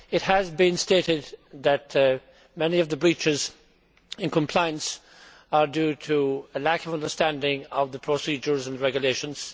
It has been stated that many of the breaches in compliance are due to a lack of understanding of the procedures and regulations.